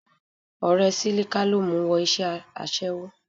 Ọ̀rẹ́ Sílíká ló mu wọ iṣẹ́ aṣẹ́wó